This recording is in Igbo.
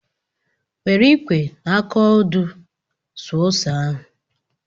Were ikwe na aka ọdụ suo ose ahụ!